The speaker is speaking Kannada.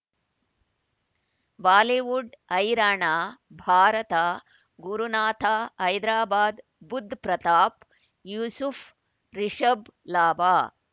ಬಾಲಿವುಡ್ ಹೈರಾಣ ಭಾರತ ಗುರುನಾಥ ಹೈದರಾಬಾದ್ ಬುಧ್ ಪ್ರತಾಪ್ ಯೂಸುಫ್ ರಿಷಬ್ ಲಾಭ